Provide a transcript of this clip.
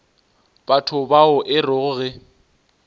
batho bao e rego ge